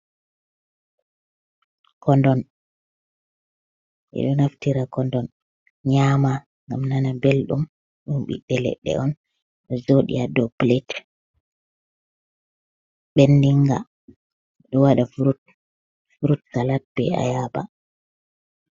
Kodon. ɓe ɗo naftira kodon nyama ngam nana belɗum, ɗum ɓiɓɓe leɗɗe on ɗo jooɗi haa dow pilet ɓendinga, ɗo waɗa furut salat be ayaba.